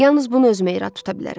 Yalnız bunu özümə irad tuta bilərəm.